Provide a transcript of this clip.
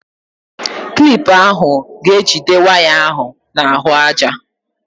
Klip ahụ ga-ejide waya ahụ n'ahụaja.